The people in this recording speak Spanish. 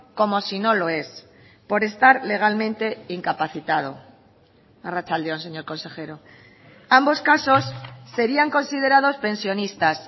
como si no lo es por estar legalmente incapacitado arratsalde on señor consejero ambos casos serían considerados pensionistas